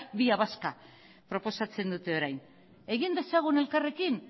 vía vasca proposatzen dute orain egin dezagun elkarrekin